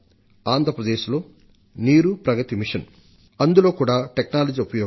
ఆంధ్రప్రదేశ్లో నీరు ప్రగతి మిషన్ అందులో కూడా భూగర్భ నీటి మట్టం పెంపునకు సాంకేతిక పరిజ్ఞానం ఉపయోగం